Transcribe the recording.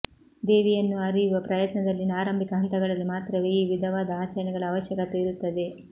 ದೇವಿಯನ್ನು ಅರಿಯುವ ಪ್ರಯತ್ನದಲ್ಲಿನ ಆರಂಭಿಕ ಹಂತಗಳಲ್ಲಿ ಮಾತ್ರವೇ ಈ ವಿಧವಾದ ಆಚರಣೆಗಳ ಅವಶ್ಯಕತೆ ಇರುತ್ತದೆ